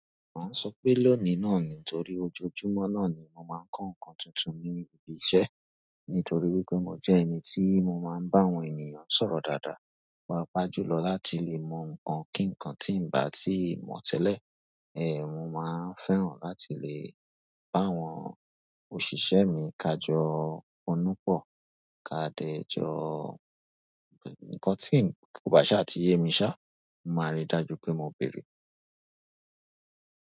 Màá sọ pé lónìí náà ni nítorí ojoojúmọ́ náà ni mo máa ń kọ́ nǹkan tuntun ní ibi iṣẹ́. Nítorí wípé mo jẹ́ ẹni tí mo máa ń bá àwọn ènìyàn sọ̀rọ̀ dáadáa, pàá pàá jùlọ láti lè mọ nǹkan kíǹkan tí ń bá tí ìmọ̀ tẹ́lẹ̀, ẹ, mo máa ń fẹ́ràn láti lè bá àwọn òṣìṣẹ́ mi kajọ onúpọ̀, ká dẹ́ jọ nǹkan tí ń kò bá ṣá ti ye mi ṣá, mo máa rí dájú pé mo béèrè.